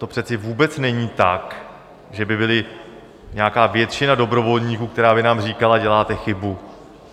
To přece vůbec není tak, že by byla nějaká většina dobrovolníků, která by nám říkala: Děláte chybu.